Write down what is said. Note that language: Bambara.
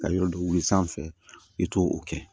Ka yɔrɔ d'u sanfɛ i t'o kɛ